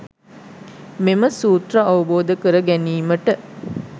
මෙම සූත්‍ර අවබෝධ කර ගැනීමට